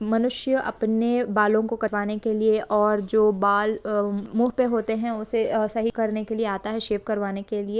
मनुष्य अपने बालो को कटवाने के लिए और जो बाल मुह पे होते है उसे सही करने के लिए आता है शेप करवाने के लिए।